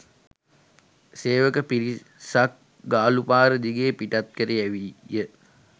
සේවක පිරිසක් ගාලූපාර දිගේ පිටත් කර යැවීය